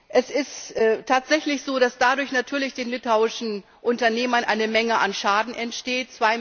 Es ist tatsächlich so, dass dadurch natürlich den litauischen Unternehmern eine Menge an Schaden entsteht.